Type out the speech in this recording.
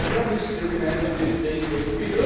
Daher müssen wir gemeinsam diesen Weg